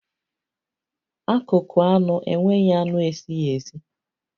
Akụkụ anụ enweghị anụ esighi esi